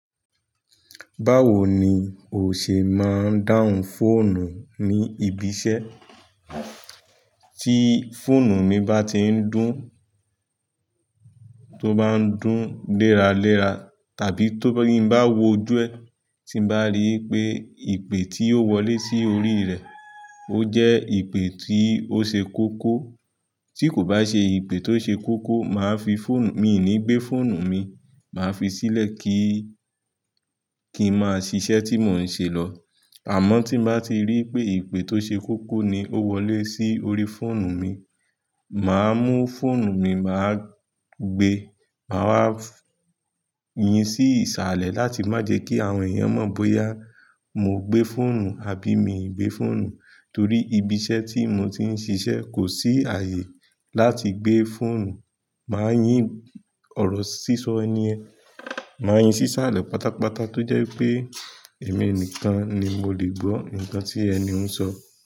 Báwo ni ò ṣe máa ń dáhùn fóònù ní ibi iṣẹ́? Tí fóònù mi bá ti ń dún, tó bá ń dún léraléra, tàbí ti n bá wo ojú ẹ, tí mo bá rí pé ìpè tí ó wọlé sí orí rẹ̀, ó jẹ́ ìpè tí ó ṣe kókó. Tí kò bá ṣe ìpè tó ṣe kókó, màá fi fóònù, mi ò ní gbé fóònù mi, màá fi sílẹ̀ kí, kí n máa ṣiṣẹ́ tí mò ń ṣe lọ. Àmọ́ tí mo bá ti rí pé ìpè tó ṣe kókó ni ó wọlé sí orí fóònù mi, màá mú fóònù mi, màá gbé, màá wá yín sí ìsàlẹ̀ láti má jẹ́ kí àwọn èèyàn mọ̀ bóyá mo gbé fóònù àbí mi ò gbé fóònù. Torí ibi iṣẹ́ tí mo ti ń ṣiṣẹ́ kò sí ààyè láti gbé fóònù. Màá yín ọ̀rọ̀ sísọ ẹni yẹ̀n, màá yín sí ìsàlẹ̀ pátápátá tó jẹ́ pé èmi nìkan ni mo lè gbó nǹkan tí ẹni ń sọ.